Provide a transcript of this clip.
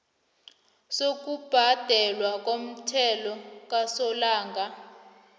sokubhadelwa komthelo kasolanga